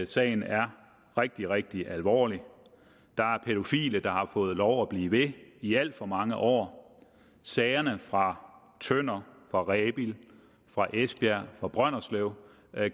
sagen er rigtig rigtig alvorlig der er pædofile der har fået lov at blive ved i alt for mange år sagerne fra tønder fra rebild fra esbjerg og fra brønderslev